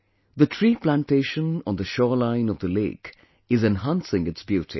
The tree plantation on the shoreline of the lake is enhancing its beauty